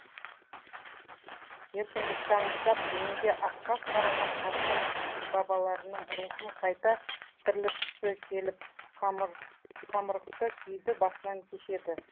еркіндікті аңсап дүниеге асқақ қараған қасқыр бабаларының рухын қайта тірілткісі келіп қамырықты күйді басынан кешеді